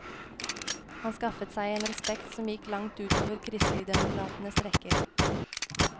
Han skaffet seg en respekt som gikk langt ut over kristeligdemokratenes rekker.